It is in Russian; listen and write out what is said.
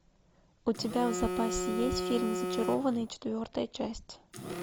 у тебя в запасе есть фильм зачарованные четвертая часть